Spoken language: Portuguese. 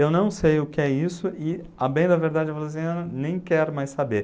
Eu não sei o que é isso e, ah, bem da verdade, eu falo assim, ah, nem quero mais saber.